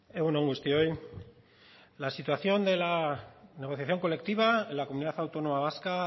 egun on guztioi la situación de la negociación colectiva en la comunidad autónoma vasca